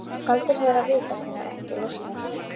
Galdurinn er að vita hvenær eggið losnar.